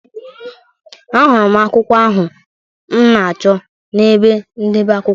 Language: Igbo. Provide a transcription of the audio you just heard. Ahụrụ m akwụkwọ ahụ m na-achọ n’ebe ndebe akwụkwọ.